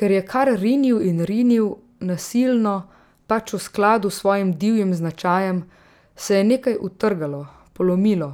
Ker je kar rinil in rinil, nasilno, pač v skladu s svojim divjim značajem, se je nekaj utrgalo, polomilo,